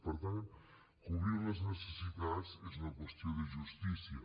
per tant cobrir les necessitats és una qüestió de justícia